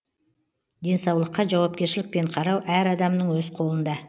денсаулыққа жауапкершілікпен қарау әр адамның өз қолында